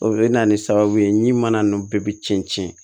O bɛ na ni sababu ye ɲana nunnu bɛɛ bi cɛn cɛn cɛn